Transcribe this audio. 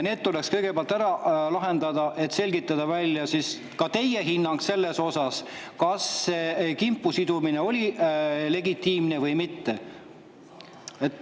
Need tuleks kõigepealt ära lahendada, et selgitada välja ka teie hinnang, kas see kimpu sidumine oli legitiimne või mitte.